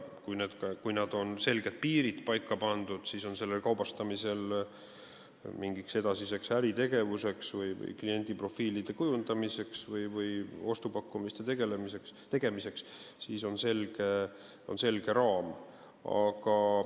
Kui on selged piirid paika pandud, siis on mingiks edasiseks äritegevuseks, kliendiprofiilide kujundamiseks või ostupakkumiste tegemiseks selged raamid.